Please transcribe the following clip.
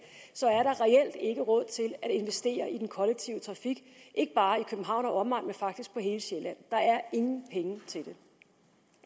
reelt ikke er råd til at investere i den kollektive trafik ikke bare i københavn og omegn men faktisk på hele sjælland der er ingen penge til